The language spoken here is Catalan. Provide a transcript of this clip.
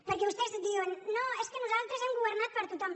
perquè vostès diuen no és que nosaltres hem governat per tothom